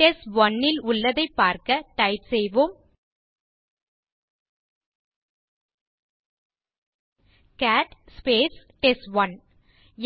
test one ல் உள்ளதைப் பார்க்க டைப் செய்வோம் கேட் டெஸ்ட்1